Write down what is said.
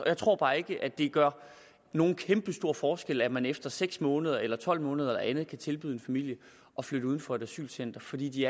jeg tror bare ikke at det gør nogen kæmpestor forskel at man efter seks måneder eller tolv måneder eller andet kan tilbyde en familie at flytte uden for et asylcenter fordi de